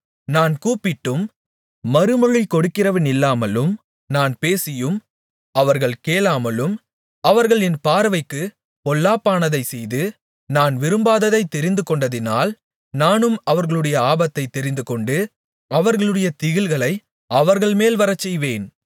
நான் கூப்பிட்டும் மறுமொழி கொடுக்கிறவனில்லாமலும் நான் பேசியும் அவர்கள் கேளாமலும் அவர்கள் என் பார்வைக்குப் பொல்லாப்பானதைச் செய்து நான் விரும்பாததைத் தெரிந்துகொண்டதினால் நானும் அவர்களுடைய ஆபத்தைத் தெரிந்துகொண்டு அவர்களுடைய திகில்களை அவர்கள்மேல் வரச்செய்வேன்